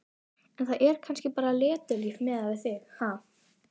En það er kannski bara letilíf miðað við þig, ha?!